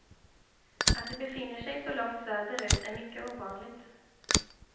Att de befinner sig så långt söderut är mycket ovanligt.